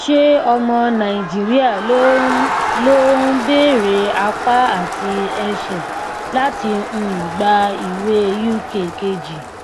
ṣé ọmọ nàìjíríà ló ń ló ń beere apá àti ẹsẹ láti um gbà ìwé uk kejì